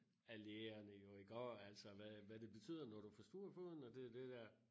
Af lægerne jo iggå altså hvad hvad det betyder når du forstuver foden og det det dér